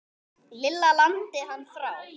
Lilla lamdi hann frá.